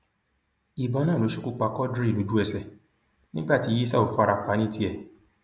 ìbọn náà ló ṣekú pa quadri lójúẹsẹ nígbà tí yísàù fara pa ní tiẹ